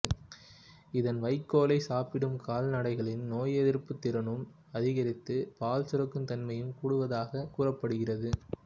இதன் வைக்கோலைச் சாப்பிடும் கால்நடைகளின் நோய் எதிர்ப்புத் திறனும் அதிகரித்து பால் சுரக்கும் தன்மையும் கூடுவதாக கூறப்படுகிறது